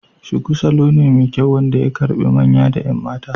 Shuku salo ne mai kyau wanda ya karbe manya da 'yan mata.